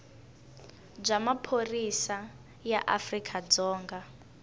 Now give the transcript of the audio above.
bya maphorisa ya afrika dzonga